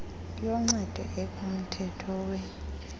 yoncedo ekumthetho we